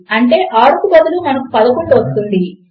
అంటే 6 కు బదులు మనకు 11 వస్తుంది